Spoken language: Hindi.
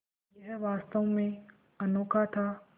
यह वास्तव में अनोखा था